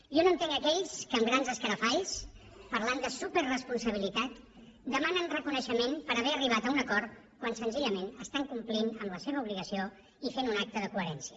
jo no entenc aquells que amb grans escarafalls parlant de superresponsabilitat demanen reconeixement per haver arribat a un acord quan senzillament estan complint la seva obligació i fent un acte de coherència